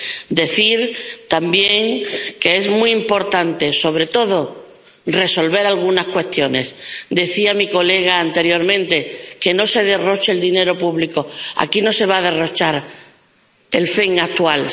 Quiero decir también que es muy importante, sobre todo, resolver algunas cuestiones. Pedía un diputado anteriormente que no se derroche el dinero público. Aquí no se va a derrochar el FEMP actual.